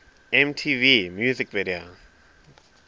mtv video music